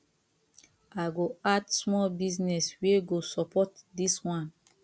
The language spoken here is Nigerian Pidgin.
i go add small business wey go support dis one